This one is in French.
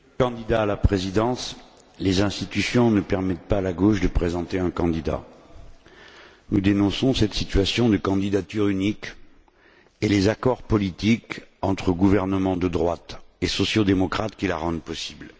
Monsieur le Président, Monsieur le candidat à la Présidence, les institutions ne permettent pas à la gauche de présenter un candidat. Nous dénonçons cette situation de candidature unique et les accords politiques entre gouvernements de droite et sociaux démocrates qui la rendent possible.